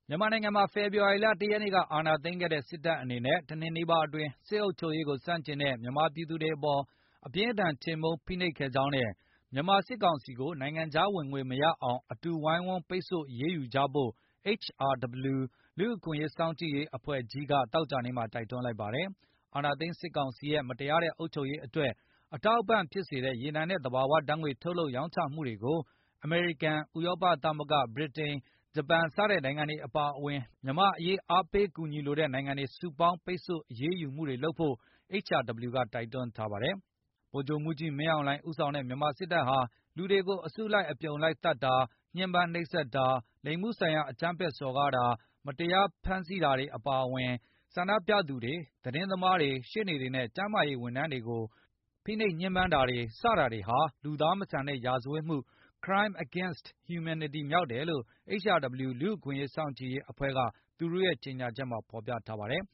မြန်မာနိုင်ငံမှာ ဖေဖေါ်ဝါရီက ၁ ရက်နေ့ အာဏာသိမ်းခဲ့တဲ့ စစ်တပ်အနေနဲ့ ၁ နှစ်နီးပါးအတွင်း စစ်အုပ်ချုပ်ရေးကို ဆန့်ကျင်တဲ့ မြန်မာပြည်သူတွေအပေါ် အပြင်းအထန်ချေမှုန်း ဖိနှိပ်ခဲ့ကြောင်းနဲ့ မြန်မာစစ်ကောင်စီကို နိုင်ငံခြားဝင်ငွေမရအောင် အတူတကွ ဝိုင်းဝန်းပိတ်ဆို့ အရေးယူဖို့ HRW လူ့အခွင့်အရေးစောင့်ကြည့်ရေးအဖွဲ့ကြီးက သောကြာနေ့ က တိုက်တွန်းလိုက်ပါတယ်။ အာဏာသိမ်းစစ်ကောင်စီရဲ့ မတရားတဲ့အုပ်ချုပ်ရေးအတွက် အထောက်အပံဖြစ်စေတဲ့ ရေနံနဲ့ သဘာဝဓာတ်ငွေ့ ထုတ်လုပ်ရောင်းချမှုတွေကို အမေရိကန်၊ ဥရောပသမဂ္ဂ၊ ဗြိတိန်၊ ဂျပန် စတဲ့နိုင်ငံတွေ အပါအဝင် မြန်မာ့အရေးအားပေးကူညီလိုတဲ့နိုင်ငံတွေ စုပေါင်းပိတ်ဆို့အရေးယူမှုတွေလုပ်ဆောင်ဖို့ HRW က တိုက်တွန်းထားပါတယ်။ ဗိုလ်ချုပ်မှူးကြီးမင်းအောင်လှိုင် ဦးဆောင်တဲ့ မြန်မာစစ်တပ်ဟာ လူတွေကိုအစုလိုက် အပြုံလိုက်သတ်ဖြတ်တာ၊ ညှင်းပန်းနှိပ်စက်တာ၊ လိင်မှုဆိုင်ရာအကြမ်းဖက်စော်ကားတာ၊ တရားမဝင်ဖမ်းဆီးတာ၊ စတာတွေအပြင် ဆန္ဒပြသူတွေ၊ သတင်းသမားတွေ၊ ရှေ့နေတွေနဲ့ ကျန်းမာရေးဝန်ထမ်းတွေ အပေါ်ဖိနှိပ်ညှင်းပန်းတာ စတာတွေဟာ လူသားမဆန်တဲ့ရာဇဝတ်မှု Crime Against Humanity မြောက်တယ်လို့ HRW လူ့အခွင့်အရေးစောင့်ကြည့်အဖွဲ့က သူတို့ရဲ့ကြေညာချက်ထဲမှာဖေါ်ပြထားပါတယ်